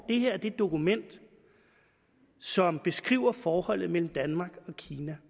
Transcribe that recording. er det dokument som beskriver forholdet mellem danmark og kina